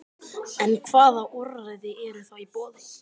En hvaða úrræði eru þá í boði?